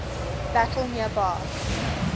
battle near bar